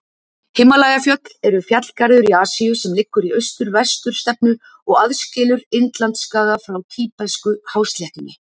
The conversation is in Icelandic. Himalajafjöll eru fjallgarður í Asíu sem liggur í austur-vestur stefnu og aðskilur Indlandsskaga frá tíbetsku-hásléttunni.